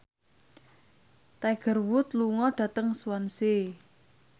Tiger Wood lunga dhateng Swansea